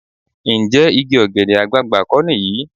Ǹjẹ́ igi ọ̀gẹ̀dẹ̀ àgbààgbà kọ́ nìyí?